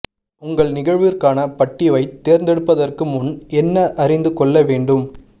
உங்கள் நிகழ்விற்கான பட்டிவைத் தேர்ந்தெடுப்பதற்கு முன் என்ன அறிந்து கொள்ள வேண்டும்